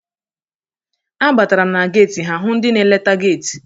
A batara m na geti ha hụ ndị na-eleta geti.